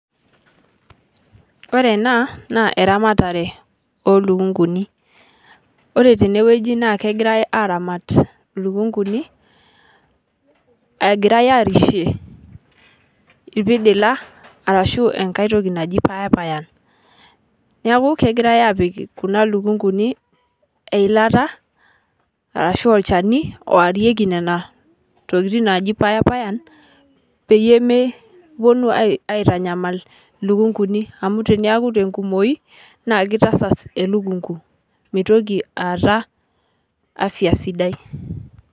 Ore ena naa eramatare oo lukung'uni, ore tene wueji naa kegirai aaramat lukung'uni egirai aarishe irpidilak arashu enkae toki naji payapayan. Neeku kegirai aapik kuna lukung'uni eilata arashu olchani oarieki nena tokitin naaji payapayan peyie mepuno aitanyamal lukung'uni amu teniyaku te nkumoi naa kitasas elukung'u mitoki aata afya sidai.